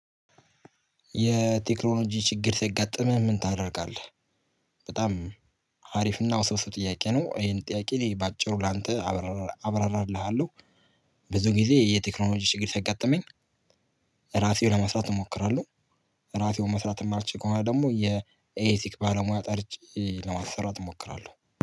የቴክኖሎጂ ችግር ሲያጋጥምህ ምን ታደርጋለህ? በጣም አሪፍና ውስብስብ ጥያቄ ነው ይሄን ጥያቄ በአጭሩ ላንተ አብራራ አብራራልሃለሁ። ብዙ ጊዜ የቴክኖሎጂ ችግር ሲያጋጥመኝ ራሴው ለመስራት እሞክራለሁ። ራሴው መስራት የማልችል ከሆነ ደግሞ የኤሌክትሪክ ባለሙያ ጠርቼ ለማስራት እሞክራለሁ